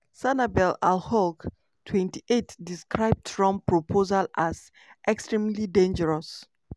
trump go like make anyone ask americans to leave and resettle permanently somewhere?"